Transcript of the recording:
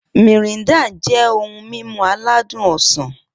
Mirinda jẹ́ ohun mímu aládùn ọsàn